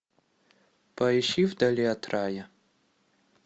поищи вдали от рая